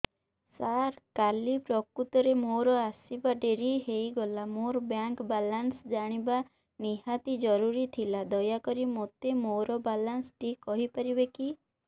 ସାର କାଲି ପ୍ରକୃତରେ ମୋର ଆସିବା ଡେରି ହେଇଗଲା ମୋର ବ୍ୟାଙ୍କ ବାଲାନ୍ସ ଜାଣିବା ନିହାତି ଜରୁରୀ ଥିଲା ଦୟାକରି ମୋତେ ମୋର ବାଲାନ୍ସ ଟି କହିପାରିବେକି